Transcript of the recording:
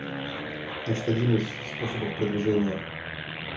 значит один из способов продвижения